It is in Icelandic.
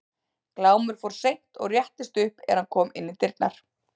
Glámur fór seint og réttist upp er hann kom inn í dyrnar.